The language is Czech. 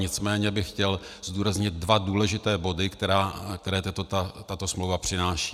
Nicméně bych chtěl zdůraznit dva důležité body, které tato smlouva přináší.